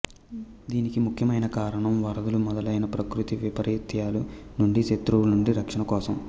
దీనికి ముఖ్యమైన కారణం వరదలు మొదలైన ప్రకృతి వైపరీత్యాల నుండి శత్రువుల నుండి రక్షణ కోసం